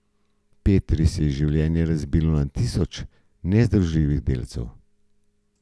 Petri se je življenje razbilo na tisoče nezdružljivih delcev.